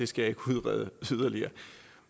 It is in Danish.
skal kunne udrede yderligere